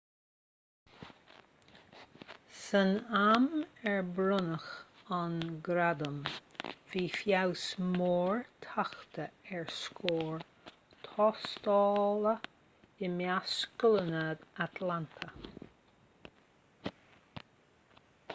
san am ar bronnadh an gradam bhí feabhas mór tagtha ar scóir thástála i measc scoileanna atlanta